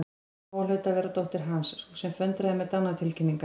Lóa hlaut að vera dóttir Hans, sú sem föndraði með dánartilkynningar.